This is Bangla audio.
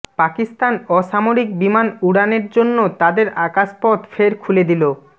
পাকিস্তান অসামরিক বিমান উড়ানের জন্য তাদের আকাশপথ ফের খুলে দিলো